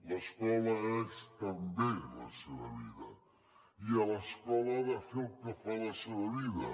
l’escola és també la seva vida i a l’escola ha de fer el que fa a la seva vida